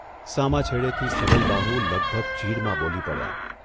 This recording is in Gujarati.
સામા છેડેથી સબલબાહું લગભગ ચીઢમાં બોલી પડ્યા.